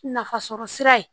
Nafasɔrɔsira ye